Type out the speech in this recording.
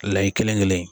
Layi kelen kelen